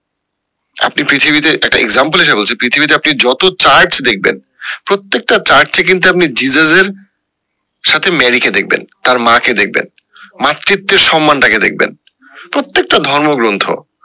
আপনি পৃথিবীতে একটা example হিসাবে বলছি পৃথিবীতে আপনি যত চার্চ দেখবেন প্রটেক্ট চার্চে কিন্তু আপনি জেসাস এর সাথে মেরি কে দেখবেন তার মা কে দেখবেন মাতৃত্বের সম্মানটাকে দেখবেন প্রত্যেকটা ধর্মগ্রন্থ